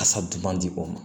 Kasa duman di o ma